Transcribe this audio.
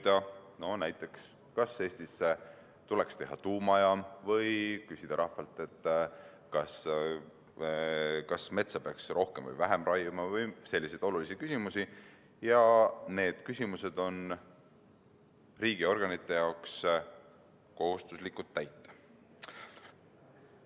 Näiteks võib rahvalt uurida, kas Eestisse tuleks teha tuumajaam, või küsida, kas metsa peaks raiuma rohkem või vähem, ja muid selliseid olulisi küsimusi, ning nendele küsimustele on riigiorganitel kohustus arvestada.